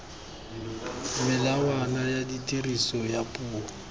melawana ya tiriso ya puo